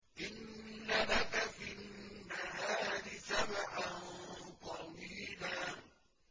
إِنَّ لَكَ فِي النَّهَارِ سَبْحًا طَوِيلًا